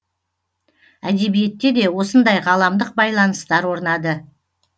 әдебиетте де осындай ғаламдық байланыстар орнады